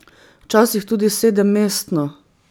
Včasih tudi sedemmestno.